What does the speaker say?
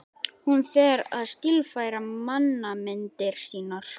Hún fer að stílfæra mannamyndir sínar.